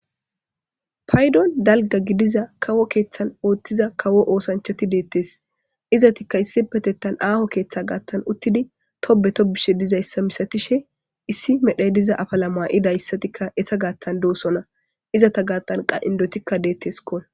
Paydon dalgga gidiza kawo keethan oothiza kawo oosanchati deetes izetikka issipetetan aaho keetha gaatan uttidi tobbe tobbishe dizayssa misatishe issi medhay diza afala ma'idayssatika eeta gaatan de'osona izeta gaatan qa indetikka deeteskko.